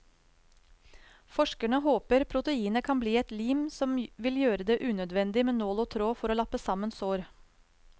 Forskerne håper proteinet kan bli et lim som vil gjøre det unødvendig med nål og tråd for å lappe sammen sår.